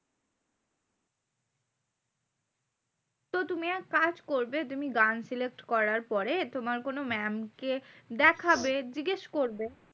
তো তুমি এক কাজ করবে, তুমি গান select করার পরে তোমার কোনো mam কে দেখাবে জিজ্ঞেস করবে।